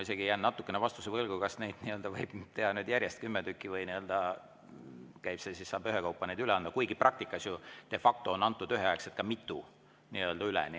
Ma jään natukene vastuse võlgu, kas neid võib esitada järjest kümme tükki või peab need ikka ühekaupa üle andma, kuigi praktikas de facto on antud üheaegselt üle ka mitu.